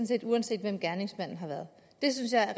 set uanset hvem gerningsmanden har været det synes jeg er